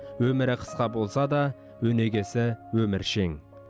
өмірі қысқа болса да өнегесі өміршең